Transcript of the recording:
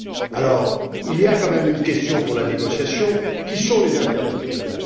Alors, se pose quand même une question pour la négociation qui sont les interlocuteurs?